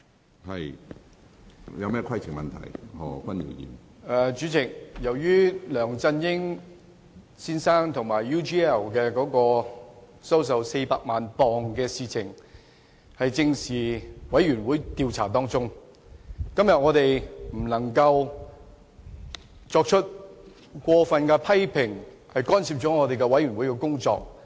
主席，由於本會專責委員會正在調查梁振英先生收受 UGL 公司400萬英鎊一事，因此議員今天不能作出過分評論，干涉專責委員會的工作。